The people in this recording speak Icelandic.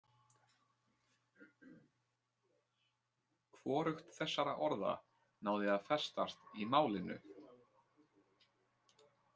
Hvorugt þessara orða náði að festast í málinu.